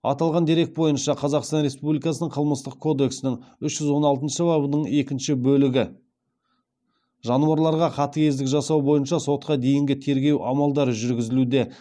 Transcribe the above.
аталған дерек бойынша қазақстан республикасының қылмыстық кодексінің үш жүз он алтыншы бабының екінші бөлігі бойынша сотқа дейінгі тергеу амалдары жүргізілуде